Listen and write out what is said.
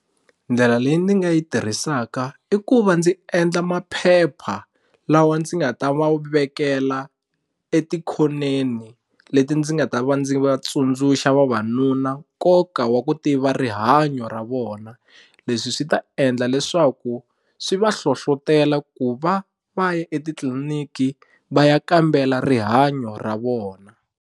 Ndlela leyi ndzi nga yi tirhisaka i ku va ndzi endla maphepha lawa ndzi nga ta va wu vekela etikhoneni leti ndzi nga ta va ndzi va tsundzuxa vavanuna nkoka wa ku tiva rihanyo ra vona leswi swi ta endla leswaku swi va hlohlotela ku va va ya etitliliniki va ya kambela rihanyo ra vona.